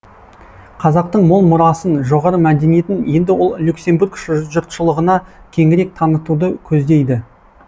қазақтың мол мұрасын жоғары мәдениетін енді ол люксембург жұртшылығына кеңірек танытуды көздейді